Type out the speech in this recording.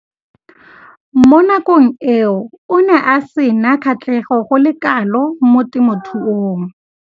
Mo nakong eo o ne a sena kgatlhego go le kalo mo temothuong.